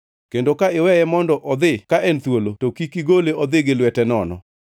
Kendo ka iweye mondo odhi ka en thuolo, to kik igole odhi gi lwete nono.